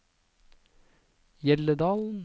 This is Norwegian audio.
Hjelledalen